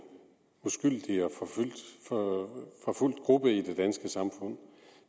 uskyldig og forfulgt gruppe i det danske samfund